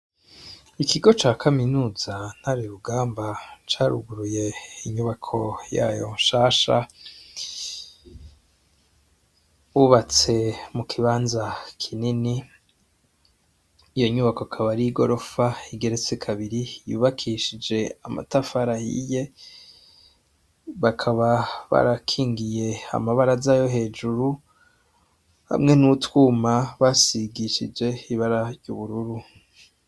Ikigo ca kaminuza ntari rugamba caruguruye inyubako yayo nshasha ubatse mu kibanza kineni iyo nyubako akabario i gorofa igeretse kabiri yubakishije amatafarahiye bakaba barakingiye amabara z'ayo hejuru hamwe n'utwuma basigishije hibara ry' ubururu.